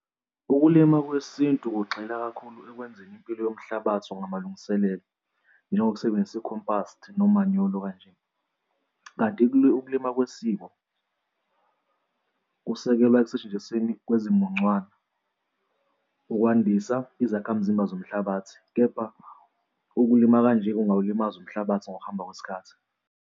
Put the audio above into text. Ukulima kwesintu kugxila kakhulu ekwenzeni impilo yomhlabathi ngamalungiselelo njengokusebenzisa i-compass nomanyolo kanje. Kanti ukulima kwesiko kusekelwa ekusetshenzisweni kwezimuncwane ukwandisa izakhamzimba zomhlabathi, kepha ukulima kanje kungawulimaza umhlabathi ngokuhamba kwesikhathi.